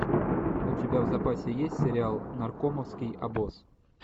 у тебя в запасе есть сериал наркомовский обоз